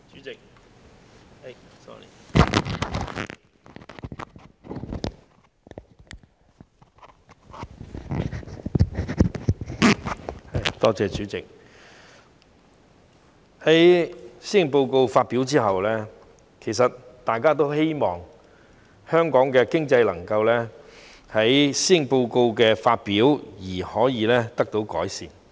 代理主席，在施政報告發表後，其實大家都希望香港的經濟能夠就施政報告的發表而可以得到改善。